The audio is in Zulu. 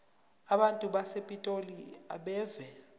abantu basepitoli abeve